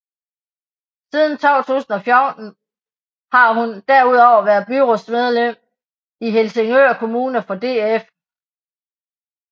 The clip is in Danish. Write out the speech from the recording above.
Siden 2014 har hun derudover været byrådsmedlem i Helsingør Kommune for DF